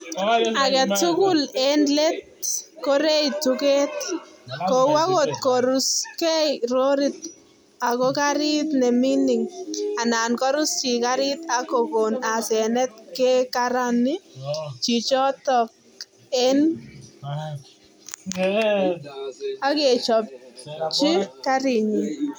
Age tugul eng let korei tugeet, kou angot koruskei lorit ako gariit ne mining anan korus chi gariit ak kokoon asenet kekarani chichotok ak kechopchi garinyi.